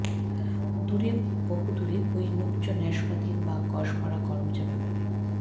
দূরে বহুদূরে ঐ নূজ্জ্ব নাসপাতি বা কষভরা করমচা বাগানে